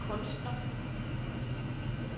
kunstner